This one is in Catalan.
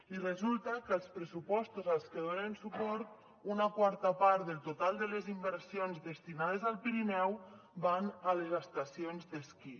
i resulta que als pressupostos als que donen suport una quarta part del total de les inversions destinades al pirineu van a les estacions d’esquí